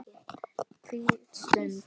Hvílík stund.